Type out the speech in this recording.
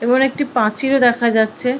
এবং একটি প্রাচীরও দেখা যাচ্ছে।